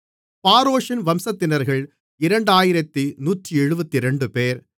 பாரோஷின் வம்சத்தினர்கள் 2172 பேர்